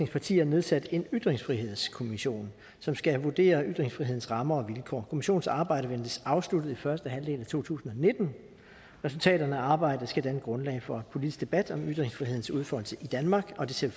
partier nedsat en ytringsfrihedskommission som skal vurdere ytringsfrihedens rammer og vilkår kommissionens arbejde ventes afsluttet i første halvdel af to tusind og nitten resultaterne af arbejdet skal danne grundlag for politisk debat om ytringsfrihedens udfoldelse i danmark og det ser